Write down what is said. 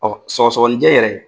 Ɔ sɔgɔsɔgɔninjɛ yɛrɛ